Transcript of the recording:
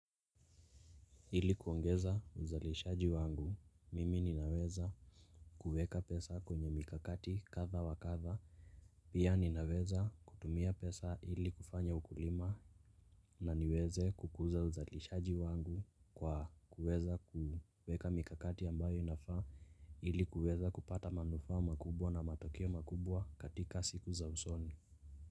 Ili kuongeza uzalishaji wangu mimi ninaweza kuweka pesa kwenye mikakati katha wakatha. Pia ninaweza kutumia pesa ili kufanya ukulima na niweze kukuza uzalishaji wangu kwa kuweza kuweka mikakati ambayo inafaa ili kuweza kupata manufaa makubwa na matokeo makubwa katika siku za usoni.